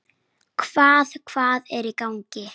Samt hélt ég áfram.